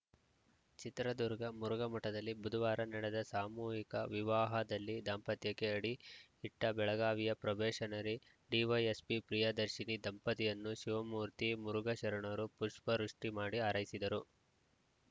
ಚಿತ್ರದುರ್ಗ ಮುರುಘಾಮಠದಲ್ಲಿ ಬುಧವಾರ ನಡೆದ ಸಾಮೂಹಿಕ ವಿವಾಹದಲ್ಲಿ ದಾಂಪತ್ಯಕ್ಕೆ ಅಡಿ ಇಟ್ಟಬೆಳಗಾವಿಯ ಪ್ರೊಬೆಷನರಿ ಡಿವೈಎಸ್ಪಿ ಪ್ರಿಯದರ್ಶಿನಿ ದಂಪತಿಯನ್ನು ಶಿವಮೂರ್ತಿ ಮುರುಘಾಶರಣರು ಪುಷ್ಪವೃಷ್ಟಿಮಾಡಿ ಹಾರೈಸಿದರು